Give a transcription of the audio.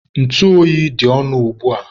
ntụ oyi dị ọnụ ugbua.